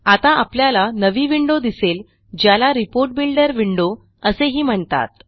आता आपल्याला नवी विंडो दिसेल ज्याला रिपोर्ट बिल्डर विंडो असेही म्हणतात